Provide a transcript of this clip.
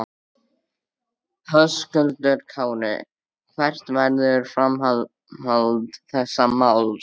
Höskuldur Kári: Hvert verður framhald þessa máls?